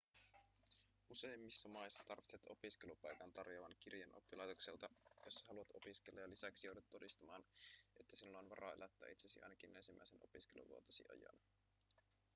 useimmissa maissa tarvitset opiskelupaikan tarjoavan kirjeen oppilaitokselta jossa haluat opiskella ja lisäksi joudut todistamaan että sinulla on varaa elättää itsesi ainakin ensimmäisen opiskeluvuotesi ajan